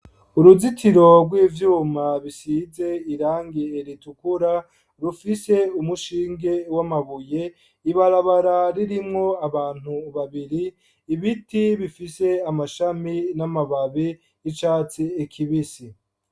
Uruzitiro rw'ivyuma bisize irangi ritukura ,rufise umushinge w'amabuye ,ibarabara ririmwo abantu babiri ,ibiti bifise amashami n'amababi y'icatsi kibisi.